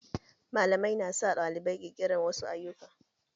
Malamai na sa ɗalibai ƙirƙirar wasu ayyuka